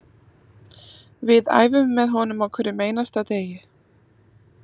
Við æfum með honum á hverjum einasta degi